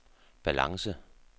balance